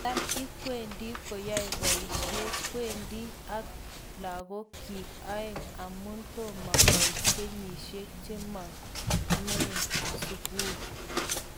Tam ikwendi koyoe boishet kwendi ak lagok kyik aeng amun tomo koit kenyishek chenomen sukul.